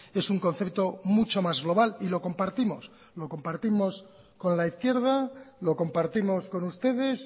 es un concepto mucho más global y lo compartimos lo compartimos con la izquierda lo compartimos con ustedes